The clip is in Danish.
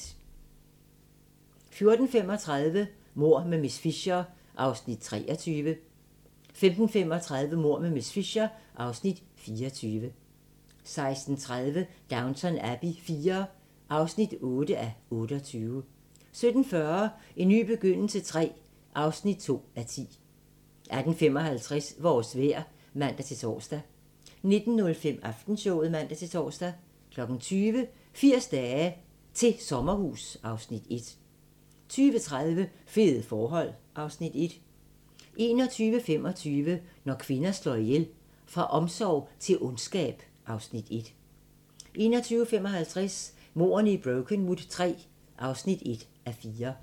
14:35: Mord med miss Fisher (23:13) 15:35: Mord med miss Fisher (24:13) 16:30: Downton Abbey IV (8:28) 17:40: En ny begyndelse III (2:10) 18:55: Vores vejr (man-tor) 19:05: Aftenshowet (man-tor) 20:00: 80 dage til sommerhus (Afs. 1) 20:30: Fede forhold (Afs. 1) 21:25: Når kvinder slår ihjel - Fra omsorg til ondskab (Afs. 1) 21:55: Mordene i Brokenwood III (1:4)